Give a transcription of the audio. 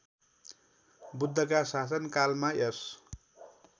बुद्धका शासनकालमा यस